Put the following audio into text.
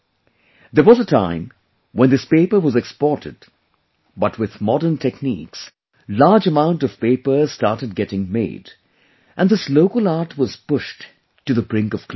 There was a time when this paper was exported but with modern techniques, large amount of paper started getting made and this local art was pushed to the brink of closure